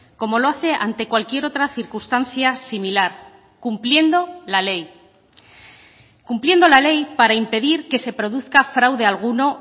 como lo hace ante cualquier otra circunstancia similar cumpliendo la ley cumpliendo la ley para impedir que se produzca fraude alguno